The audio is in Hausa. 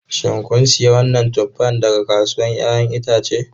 Shin kun sayi wannan tuffa daga kasuwar 'ya'yan itace?